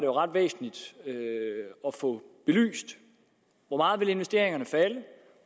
ret væsentligt at få belyst hvor meget investeringerne vil falde